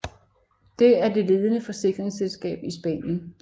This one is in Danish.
Det er det ledende forsikringsselskab i Spanien